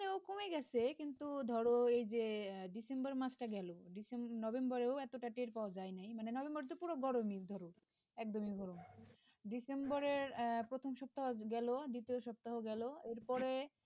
এখানেও কমে গেছে কিন্তু ধরো এই যে December মাসটা গেল Decemb November ও এতটা টের পাওয়া যায়নি মানে November তো পুরো গরম ই ধরো একদমই গরম December র প্রথম সপ্তাহ গেল দ্বিতীয় সপ্তাহ গেল এরপরে